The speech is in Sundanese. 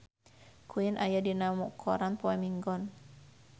Queen aya dina koran poe Minggon